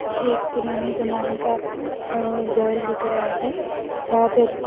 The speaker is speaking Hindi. ये एक पुराने जमाने का अह घर दिख रहा है जहां पे --